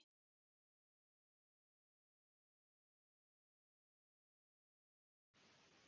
Ég gat varla fengið mig til að fagna þessu, svo ósanngjarnt var þetta.